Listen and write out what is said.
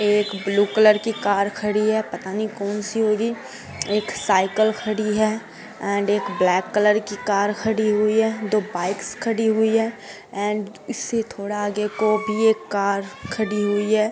एक blue colour की car खड़ी है पता नहीं कौन सी होगी एक साईकिल खड़ी है एन्ड एक ब्लैक कलर की कार खड़ी हुई है दो बाईक्स खड़ी हुई है एन्ड इससे थोड़ा आगे को भी एक कार खड़ी हुई है।